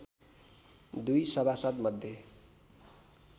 दुई सभासद् मध्ये